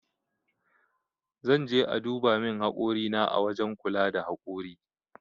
Zan je aduba min hakori na ã wajen kula da hakori.